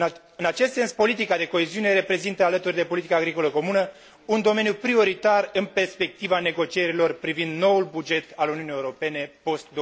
În acest sens, politica de coeziune reprezintă, alături de politica agricolă comună, un domeniu prioritar în perspectiva negocierilor privind noul buget al Uniunii Europene post